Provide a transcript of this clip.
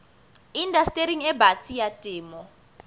indastering e batsi ya temo